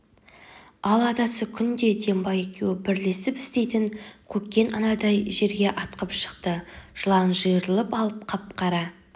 ал атасы күңде дембай екеуі бірлесіп істейтін көкен анадай жерге атқып шықты жылан жиырылып алып қап-қара